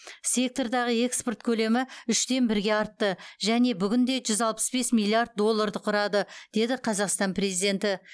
сектордағы экспорт көлемі үштен бірге артты және бүгінде жүз алпыс бес миллиард долларды құрады деді қазақстан президенті